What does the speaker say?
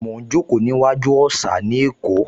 Mo ń jókòó sí iwájú òsà ní Èkó